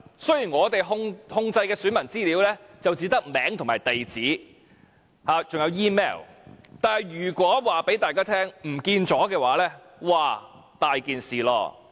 雖然我們控制的選民資料只有姓名、地址和 email， 但如果告訴大家遺失了這些資料，這可大件事了。